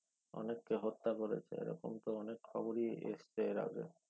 অনেককে হত্যা করেছে এ রকম তো অনেক খবরি এসছে এর আর আগে